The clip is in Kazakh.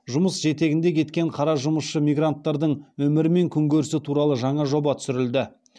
жұмыс жетегінде кеткен қара жұмысшы мигранттардың өмірі мен күнкөрісі туралы жаңа жоба түсірілді